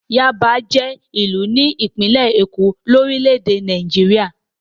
Yáàbá jẹ́ ìlú ní ìpínlẹ̀ Èkó, orílẹ̀-èdè Nàìjíríà.